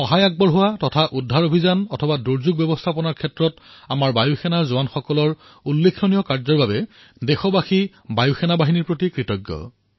সাহায্য অথবা ৰক্ষা কাৰ্যই হওক অথবা দুৰ্যোগ প্ৰৱন্ধন আমাৰ বায়ুযোদ্ধাৰ সাহসিক কাৰ্যৰ প্ৰতি দেশ কৃতজ্ঞ